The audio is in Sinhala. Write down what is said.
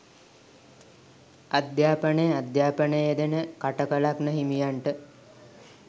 අධ්‍යාපනය අධ්‍යාපනයේ යෙදෙන කටක ලග්න හිමියන්ට